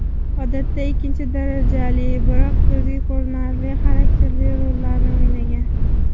Odatda ikkinchi darajali, biroq ko‘zga ko‘rinarli, xarakterli rollarni o‘ynagan.